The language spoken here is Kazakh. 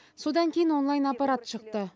содан кейін онлайн аппарат шықты